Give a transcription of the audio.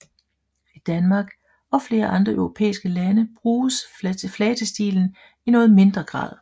I Danmark og flere andre europæiske lande bruges flatestilen i noget mindre grad